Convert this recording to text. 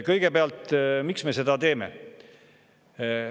Kõigepealt: miks me seda teeme?